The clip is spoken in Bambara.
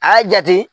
A y'a jate